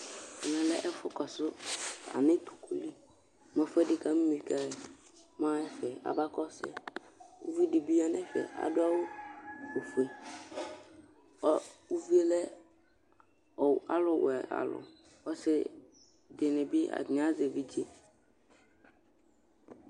Ɛmɛlɛ ɛfʋ kɔsʋ yanʋ ɛtʋkʋli, mʋ ɛfʋɛdi kamimi kɛ mɛ axa ɛfɛ abakɔsʋ yɛ Ʋvidibi yanʋ ɛfɛ adʋ awʋ ofue ʋvie lɛ alʋwɛ alʋ Ɔsidini bi atani bi azɛ evidze